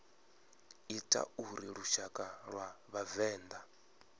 ita uri lushaka lwa vhavenḓa